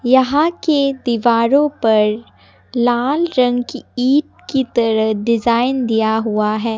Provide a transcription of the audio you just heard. यहां के दीवारों पर लाल रंग की ईट की तरह डिजाइन दिया हुआ है।